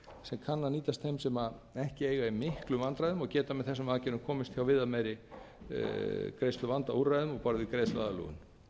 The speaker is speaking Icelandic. sem kann að nýtast þeim sem ekki eiga í miklum vandræðum og geta með þessum aðgerðum komist hjá viðameiri greiðsluvandaúrræðum á borð við greiðsluaðlögun